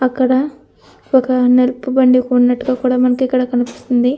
అక్కడ ఒక నలుపు బండి ఉన్నట్టుగా కూడా మనకు ఇక్కడ కనిపిస్తుంది.